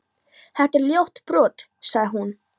Þetta er ljótt brot, sagði hún.